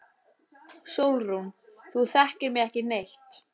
SÓLRÚN: Þú þekkir mig ekki neitt.